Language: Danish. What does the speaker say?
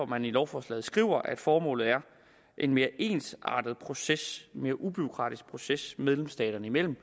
man i lovforslaget skriver at formålet er en mere ensartet proces og mere ubureaukratisk proces medlemsstaterne imellem